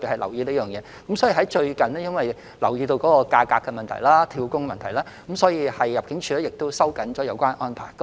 由於最近留意到有關工資及"跳工"的問題，入境處已收緊有關安排。